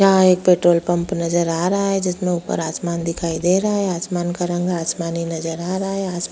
यहाँ एक petrol pump नजर आ रहा है जिसमें ऊपर आसमान दिखाई दे रहा है आसमान का रंग आसमानी नजर आ रहा है अस --